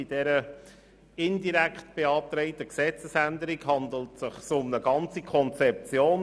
Bei dieser indirekt beantragten Gesetzesänderung handelt es sich um eine ganze Konzeption.